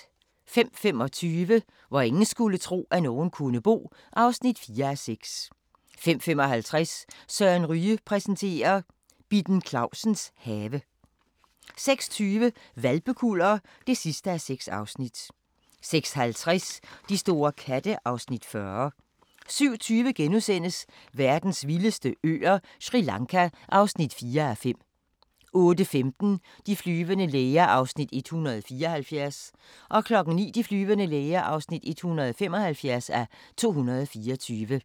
05:25: Hvor ingen skulle tro, at nogen kunne bo (4:6) 05:55: Søren Ryge præsenterer: Bitten Clausens have 06:20: Hvalpekuller (6:6) 06:50: De store katte (Afs. 40) 07:20: Verdens vildeste øer – Sri Lanka (4:5)* 08:15: De flyvende læger (174:224) 09:00: De flyvende læger (175:224)